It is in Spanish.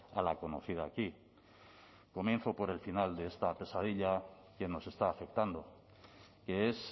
a la conocida aquí comienzo por el final de esta pesadilla que nos está afectando que es